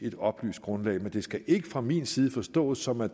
et oplyst grundlag men det skal ikke fra min side forstås sådan at